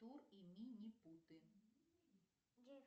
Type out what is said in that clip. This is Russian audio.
тур и минипуты